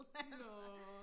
nåå